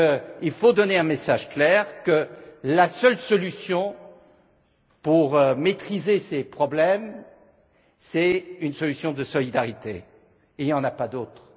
riche qu'il faut donner un message clair, que la seule solution pour maîtriser ces problèmes, c'est une solution de solidarité, il y en a